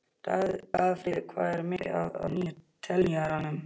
Dagfríður, hvað er mikið eftir af niðurteljaranum?